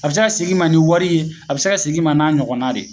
A be ka seg'i ma ni wari ye a be se ka sig'i ma n'a ɲɔgɔnna de ye